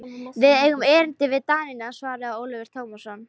Við eigum erindi við Danina, svaraði Ólafur Tómasson.